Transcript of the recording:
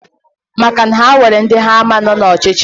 Maka na ha nwere ndi ha ama no na ochichi...